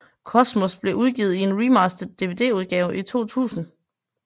Cosmos blev udgivet i en remastered Dvdudgave i 2000